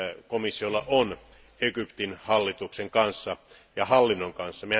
komissiolla on Egyptin hallituksen kanssa ja hallinnon kanssa.